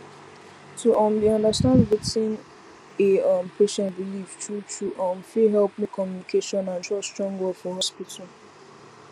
to um dey understand wetin a um patient believe truetrue um fit help make communication and trust strong well for hospital